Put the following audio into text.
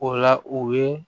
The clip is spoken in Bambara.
O la u ye